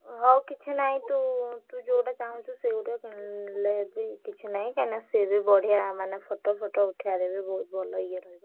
ହଉ କିଛି ନହିଁ ତୁ ଯୋଉଟା ଚାହୁଁଛୁ ସେଇଗୋଟା କିଣିଲେ ବି କିଛି ନାହିଁ କାଇଁନା ସିଏ ବି ବଢିଆ photo ଉଠେଇଆ ରେ ଭଲ ଇଏ ରହିବ।